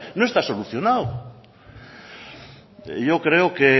no está solucionado yo creo que